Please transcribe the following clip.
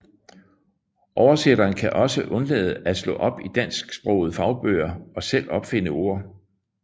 Oversætteren kan også undlade at slå op i dansksprogede fagbøger og selv opfinde ord